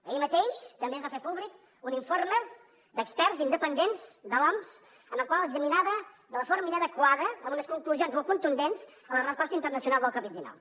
ahir mateix també es va fer públic un informe d’experts independents de l’oms en el qual es dictaminava de forma inadequada amb unes conclusions molt contundents la resposta internacional al covid dinou